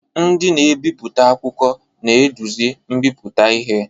Ndị na-ebipụta akwụkwọ na-eduzi mmepụta ihe.